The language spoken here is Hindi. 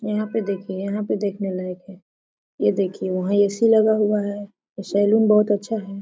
यहाँ पे देखिए यहाँ पे देखने लायक है यह देखिए वहाँ ऐ_सी लगा हुआ है और सेलून बहुत अच्छा है। .